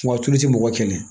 Wa tulu ti mɔgɔ kɛlɛ